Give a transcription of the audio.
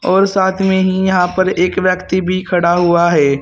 और साथ में ही यहां पर एक व्यक्ति भी खड़ा हुआ है।